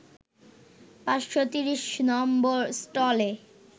৫৩০ number স্টলে